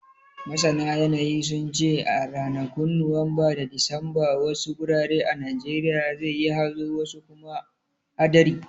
Masana yanayi, sun ce a ranakun Nuwamba da Disamba, wasu gurare a Najeriya zai yi hazo wasu kuma hadari.